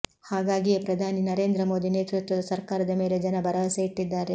ಹಾಗಾಗಿಯೇ ಪ್ರಧಾನಿ ನರೇಂದ್ರ ಮೋದಿ ನೇತೃತ್ವದ ಸರ್ಕಾರದ ಮೇಲೆ ಜನ ಭರವಸೆ ಇರಿಸಿದ್ದಾರೆ